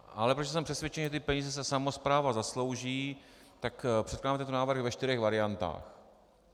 Ale protože jsem přesvědčen, že ty peníze si samospráva zaslouží, tak předkládám tento návrh ve čtyřech variantách.